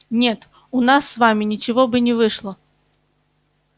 нет у нас с вами ничего бы не вышло